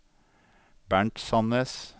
Bernt Sannes